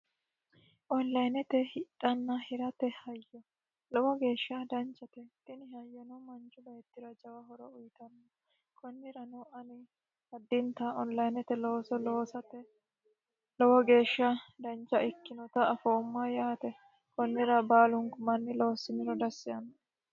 Onlinete hidha hirate hayyo lowo geesha danichate tini hayyono manichu beettira jawa horo uyitanno konnirano ani addinitanni onilinete looso loosate lowo geesha danicha ikkenota afooma yaate konnira baaluniku manni loosiniro dassi yaanoe